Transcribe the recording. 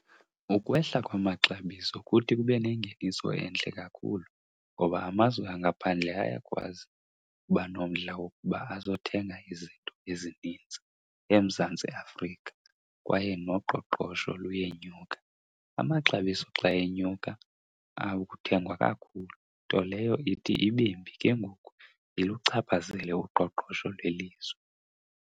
Ukwehla kwamaxabiso kuthi kube nengeniso entle kakhulu, ngoba amazwe angaphandle ayakwazi uba nomdla wokuba azothenga izinto ezininzi eMzantsi Afrika kwaye noqoqosho luyenyuka. Amaxabiso xa enyuka akuthengwa kakhulu nto leyo ithi ibe mbi ke ngoku iluchaphazele uqoqosho lwelizwe.